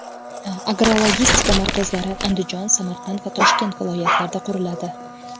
Agrologistika markazlari Andijon, Samarqand va Toshkent viloyatlarida quriladi.